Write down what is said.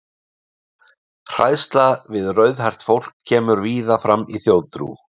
Hræðsla við rauðhært fólk kemur víða fram í þjóðtrú.